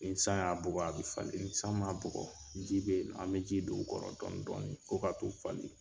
Nin san y'a bugɔ a bɛ falen ni san man bugɔ ji bɛ an bɛ ji don o kɔrɔ dɔni dɔni fo ka t'u falen.